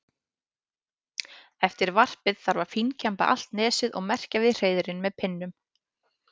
Eftir varpið þarf að fínkemba allt nesið og merkja við hreiðrin með pinnum.